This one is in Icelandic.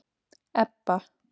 Ebba